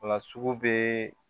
O la sugu bɛ